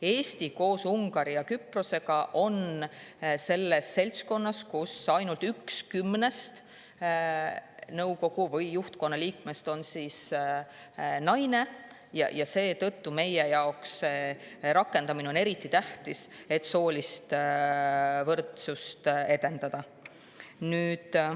Eesti koos Ungari ja Küprosega on selles seltskonnas, kus ainult üks kümnest nõukogu või juhtkonna liikmest on naine, ja seetõttu on meie jaoks selle rakendamine eriti tähtis, et soolist võrdsust edendada.